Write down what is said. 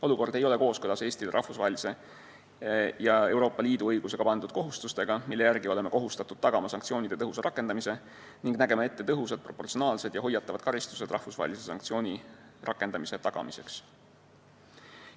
Olukord ei ole kooskõlas Eestile rahvusvahelise ja Euroopa Liidu õigusega pandud kohustustega, mille järgi me peame tagama sanktsioonide tõhusa rakendamise ning nägema ette tõhusad, proportsionaalsed ja hoiatavad karistused rahvusvahelise sanktsiooni rakendamise tagamiseks.